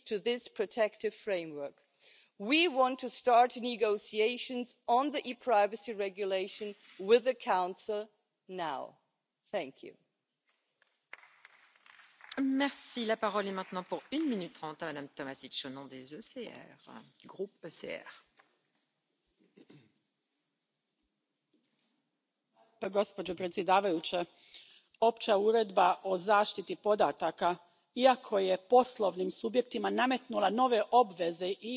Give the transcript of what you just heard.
Dossier ja weitgehend unstrittig, weil wir uns an der Datenschutzgrundverordnung orientiert haben. Wir Grünen freuen uns aber besonders, dass es zusätzlich auch ein spezielles Kapitel zum Datenschutz in den europäischen Strafverfolgungsbehörden gibt, das sich an der Richtlinie zum Datenschutz im Polizeibereich für die Mitgliedstaaten orientiert. Das war von Anfang an unsere Forderung. Auch hier gilt nämlich Einheitliche Standards